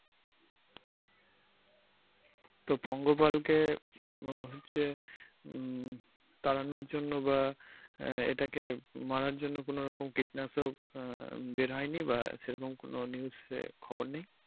তো পঙ্গপালকে উহ হচ্ছে উম তাড়ানোর জন্য বা আহ এটাকে মারার জন্য কোন রকম কীটনাশক আহ বের হয়নি বা সেরকম কোন news এ খবর নেই?